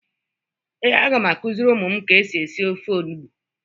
Ee, a ga m akuziri umu m ka esi esi ofe olugbu.